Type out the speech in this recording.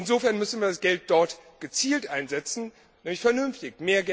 Insofern müssen wir das Geld dort gezielt einsetzen, nämlich vernünftig.